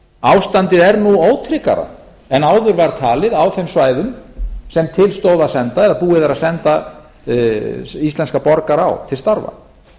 ástandið er nú ótryggara en áður var talið á þeim svæðum sem til stóð að senda eða búið er að senda íslenska borgara á til starfa